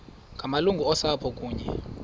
ngamalungu osapho kunye